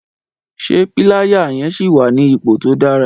Sé píláyà yẹn síì wà ní ipò tó dára?